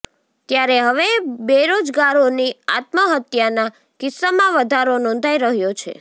ત્યારે હવે બેરોજગારોની આત્મહત્યાના કિસ્સામાં વધારો નોંધાઈ રહ્યો છે